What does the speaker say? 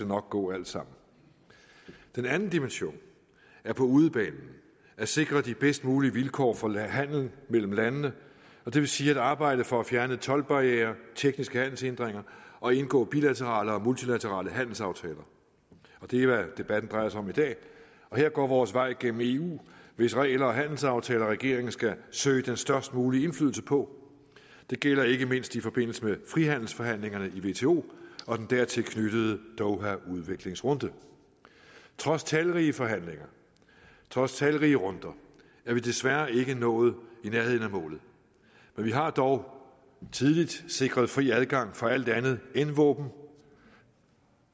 nok gå alt sammen den anden dimension er på udebanen at sikre de bedst mulige vilkår for handel mellem landene og det vil sige at arbejde for at fjerne toldbarrierer tekniske handelshindringer og indgå bilaterale og multilaterale handelsaftaler og det er hvad debatten drejer sig om i dag her går vores vej gennem eu hvis regler og handelsaftaler regeringen skal søge den størst mulige indflydelse på det gælder ikke mindst i forbindelse med frihandelsforhandlingerne i wto og den dertil knyttede dohaudviklingsrunde trods talrige forhandlinger trods talrige runder er vi desværre ikke nået i nærheden af målet men vi har dog tidligt sikret fri adgang for alt andet end våben